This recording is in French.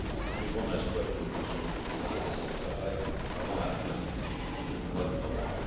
examen. J'ai bon espoir que nous puissions finaliser ce travail avant la fin du mois de novembre.